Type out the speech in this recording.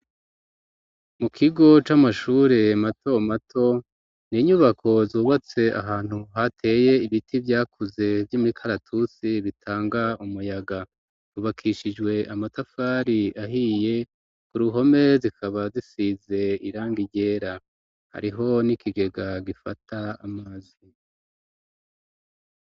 Mu kigo c'amashure mato mato n'inyubako zubatse ahantu hateye ibiti byakuze vy'imikaratusi bitanga umuyaga ryubakishijwe amatafari ahiye ku ruhome zikaba zisize irangi ryera hariho n'ikigega gifata amazi.